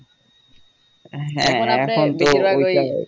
হ্যাঁ এখন তো ওই টাই